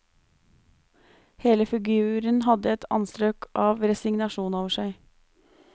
Hele figuren hadde et anstrøk av resignasjon over seg.